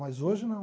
Mas hoje não.